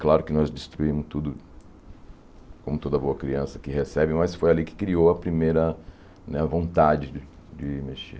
Claro que nós destruímos tudo, como toda boa criança que recebe, mas foi ali que criou a primeira né vontade de mexer.